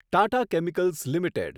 Tata chemicals limited